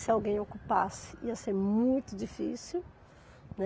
Se alguém ocupasse, ia ser muito difícil, né.